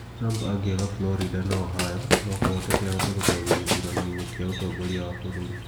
Trump angĩaga Florida na Ohio, no kũhoteke ahote gũtoria gĩthurano-inĩ kĩa ũtongoria wa bũrũri.